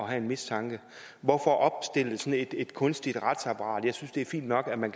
have en mistanke hvorfor opstille sådan et kunstigt retsapparat jeg synes det er fint nok at man